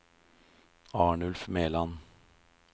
Arnulf Meland